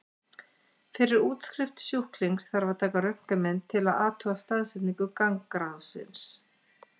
Fyrir útskrift sjúklings þarf að taka röntgenmynd til að athuga staðsetningu gangráðsins.